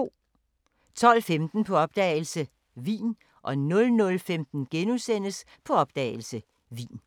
12:15: På opdagelse – Wien 00:15: På opdagelse – Wien *